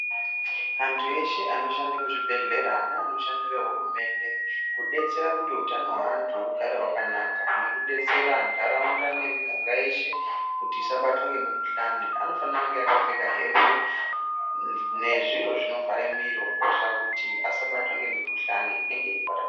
Antu eshe anoshanda muzvibhedhlera neanoshandira hurumende kudetsera kuti utano hweantu hugare hwakanaka. Nekudetsera nharaunda nemiganga yeshe kuti isabatwe ngemukhuhlani. Anofana kunge vakapfeka hembe nezviro zvinovhara miro kuitira kuti asabatwa ngemukhuhlani inenge yeipararira.